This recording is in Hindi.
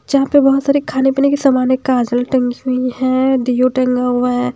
जहाँ पे बहुत सारे खाने पीने के सामान है काजल टंगी हुई है दियो टंगा हुआ है।